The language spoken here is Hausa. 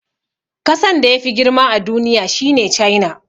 Kasan da yafi girma a duniya shine China.